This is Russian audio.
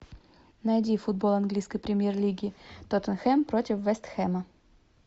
найди футбол английской премьер лиги тоттенхэм против вест хэма